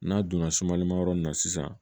N'a donna sumalimayɔrɔ in na sisan